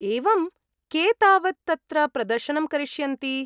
एवम्, के तावत् तत्र प्रदर्शनं करिष्यन्ति ?